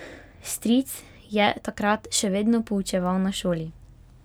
Stric je takrat še vedno poučeval na šoli.